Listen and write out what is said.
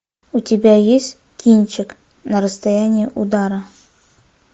у тебя есть кинчик на расстоянии удара